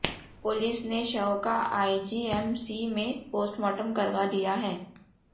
police ने शव का आईजीएमसी में पोस्टमार्टम करवा दिया है